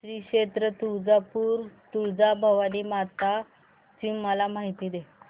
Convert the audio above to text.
श्री क्षेत्र तुळजापूर तुळजाभवानी माता ची मला माहिती दे